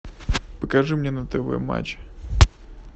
покажи мне на тв матч